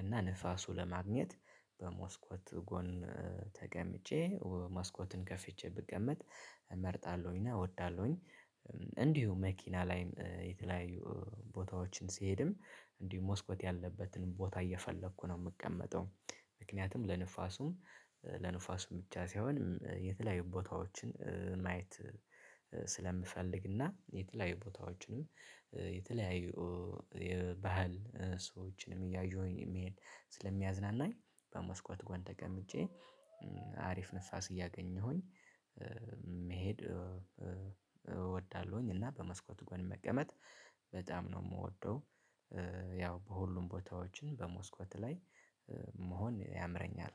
እና ንፋሱን ለማግኘት በመስኮት ጎን እ ተቀምጬ እ መስኮትን ከፍቼ ብቀመጥ እመርጣለሁኝ እና እወዳለሁኝ። እንዲሁ መኪና ላይ እ የተለያዩ ቦታዎችን ስሄድም እንዲሁ ሞስኮት ያለበትን ቦታ እየፈለኩ ነው የምቀመጠው። ምክንያቱም ለንፋሱም ለንፋሱ ብቻ ሳይሆን እ የተለያዩ ቦታዎችን እ ማየት እ ስለምፈልግና የተለያዩ ቦታዎችንም እ የተለያዩ የባህል ሰዎችንም እያየሁኝ ስለሚያዝናናኝ። በመስኮት ጎን ተቀምጬ እ አሪፍ ንፋስ እያገኘሁኝ እ መሄድ እ እወዳለሁኝ። እና በመስኮት ጎን መቀመጥ በጣም ነው የምወደው። እ ያው በሁሉም ቦታዎችን በመስኮት ላይ መሆን ያምረኛል።